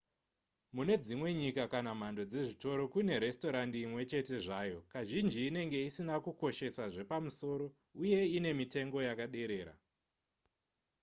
mune dzimwe nyika kana mhando dzezvitoro kune resitorendi imwechete zvayo kazhinji inenge isina kukoshesha zvepamusoro uye ine mitengo yakaderera